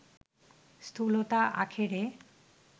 স্থূলতা আখেরে